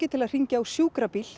til að hringja á sjúkrabíl